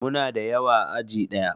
Muna da yawa a aji ɗaya